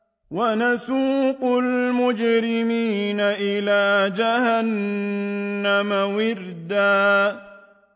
وَنَسُوقُ الْمُجْرِمِينَ إِلَىٰ جَهَنَّمَ وِرْدًا